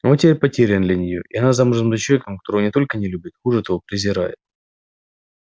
он теперь потерян для нее и она замужем за человеком которого не только не любит хуже того презирает